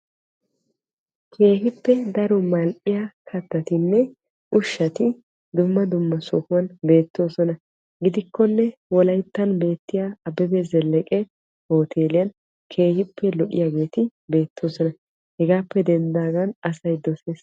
keehippe daro mal'iya kattatinne ushshati dumma dumma sohuwan beetoosona. gidikkonne wolayttan beetiya abebe zeleke hooteliyan keehippe lo'iyageeti beetoosona. hegaappe dendaagan asay dosees.